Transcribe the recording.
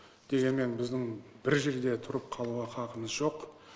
дегенмен біздің бір жерде тұрып қалуға хақымыз жоқ